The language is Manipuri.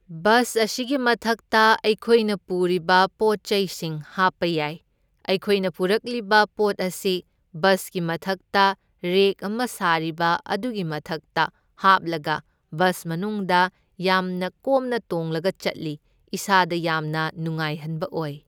ꯕꯁ ꯑꯁꯤꯒꯤ ꯃꯊꯛꯇ ꯑꯩꯈꯣꯏꯅ ꯄꯨꯔꯤꯕ ꯄꯣꯠꯆꯩꯁꯤꯡ ꯍꯥꯞꯄ ꯌꯥꯏ, ꯑꯩꯈꯣꯏꯅ ꯄꯨꯔꯛꯂꯤꯕ ꯄꯣꯠ ꯑꯁꯤ ꯕꯁꯀꯤ ꯃꯊꯛꯇ ꯔꯦꯛ ꯑꯃ ꯁꯥꯔꯤꯕ ꯑꯗꯨꯒꯤ ꯃꯊꯛꯇ ꯍꯥꯞꯂꯒ ꯕꯁ ꯃꯅꯨꯡꯗ ꯌꯥꯝꯅ ꯀꯣꯝꯅ ꯇꯣꯡꯂꯒ ꯆꯠꯂꯤ, ꯏꯁꯥꯗ ꯌꯥꯝꯅ ꯅꯉꯥꯏꯍꯟꯕ ꯑꯣꯏ꯫